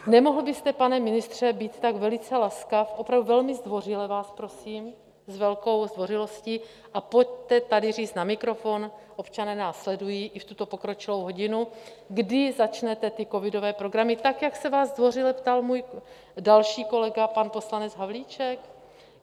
Nemohl byste, pane ministře, být tak velice laskav, opravdu velmi zdvořile vás prosím, s velkou zdvořilostí, a pojďte tady říct na mikrofon, občané nás sledují i v tuto pokročilou hodinu, kdy začnete ty covidové programy, tak jak se vás zdvořile ptal můj další kolega, pan poslanec Havlíček?